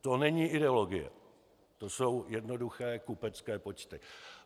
To není ideologie, to jsou jednoduché kupecké počty.